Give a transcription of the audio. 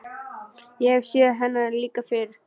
Ég hef séð hennar líka fyrr.